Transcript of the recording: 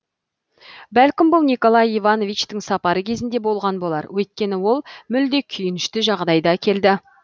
бәлкім бұл николай ивановичтің сапары кезінде болған болар өйткені ол мүлде күйінішті жағдайда келді